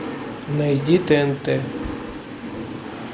найди тнт